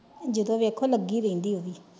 ਜਦੋਂ ਵੇਖੋ ਲੱਗੀ ਰਹਿੰਦੀ ਪੋਹ ਵੀ।